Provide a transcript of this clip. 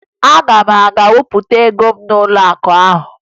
Aga m aga wepụta ego m n'ụlọakụ ahụ